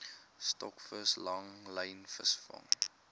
stokvis langlyn vangste